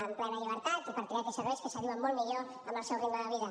amb plena llibertat i per triar aquells serveis que s’adiuen molt millor amb el seu ritme de vida